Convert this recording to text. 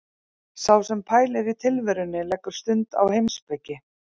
Sá sem pælir í tilverunni leggur stund á heimspeki.